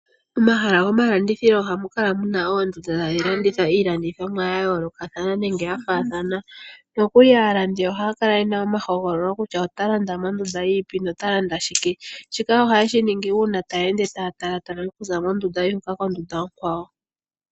Momahala gomalandithilo ohamu kala mu na oondunda tadhi landitha iilandithomwa ya yoolokathana nenge ya faathana. Nokuli aalandi ohaya kala ye na ehogololo kutya otaya landa mondunda yi ipi nota landa shike. Shika ohaye shi ningi uuna taya ende taya talaatala okuza mondunda yimwe okuya kondunda onkwawo.